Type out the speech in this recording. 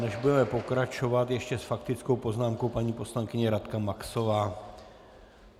Než budeme pokračovat, ještě s faktickou poznámkou paní poslankyně Radka Maxová.